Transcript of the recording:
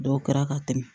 Dɔw kɛra ka tɛmɛ